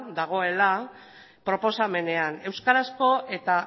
dagoela proposamenean euskarazko eta